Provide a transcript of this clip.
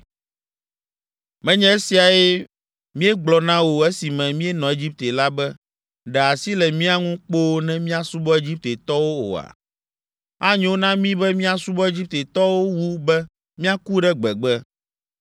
“Menye esiae míegblɔ na wò esime míenɔ Egipte la be, ‘Ɖe asi le mía ŋu kpoo ne míasubɔ Egiptetɔwo’ oa? Anyo na mí be míasubɔ Egiptetɔwo wu be míaku ɖe gbegbe!”